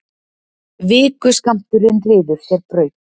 Vikuskammturinn ryður sér braut.